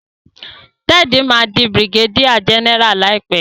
Ted má dì brigadier general láìpé.